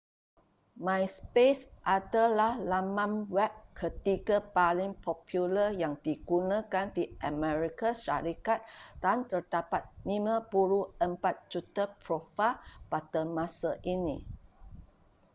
myspace adalah laman web ketiga paling popular yang digunakan di amerika syarikat dan terdapat 54 juta profail pada masa ini